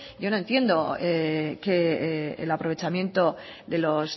yo no entiendo que el aprovechamiento de los